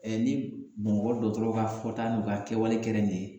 Ɛ ni bamakɔ dɔgɔtɔrɔ ka fɔta n'u ka kɛwale kela nin ye